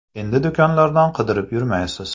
Endi do‘konlardan qidirib yurmaysiz.